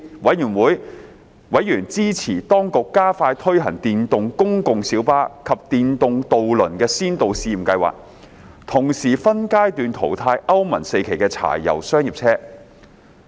委員支持當局加快推行電動公共小巴及電動渡輪的先導試驗計劃，同時分階段淘汰歐盟 IV 期柴油商業車。